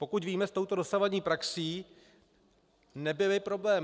Pokud víme, s touto dosavadní praxí nebyly problémy.